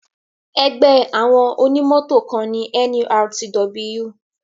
Ẹgbẹ́ àwọn onímọ̀tò kan ni NURTW.